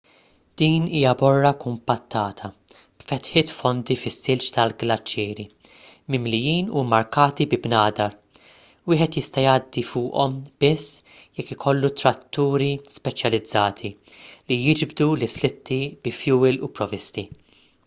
din hija borra kumpattata b'fetħiet fondi fis-silġ tal-glaċieri mimlijin u mmarkati bi bnadar wieħed jista' jgħaddi fuqhom biss jekk ikollu tratturi speċjalizzati li jiġbdu l-islitti bi fjuwil u provvisti